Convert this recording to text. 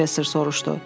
Professor soruşdu.